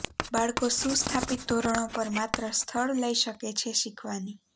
બાળકો સુસ્થાપિત ધોરણો પર માત્ર સ્થળ લઇ શકે છે શીખવાની